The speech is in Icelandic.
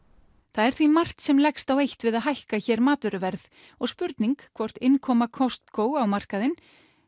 það er því margt sem leggst á eitt við að hækka hér matvöruverð og spurning hvort innkoma Costco á markaðinn